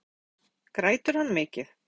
Dagmar Ýr Stefánsdóttir: Grætur hann mikið?